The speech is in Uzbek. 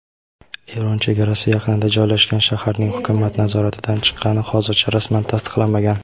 Eron chegarasi yaqinida joylashgan shaharning hukumat nazoratidan chiqqani hozircha rasman tasdiqlanmagan.